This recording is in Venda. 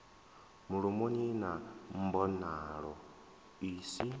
mulomoni na mbonalo i si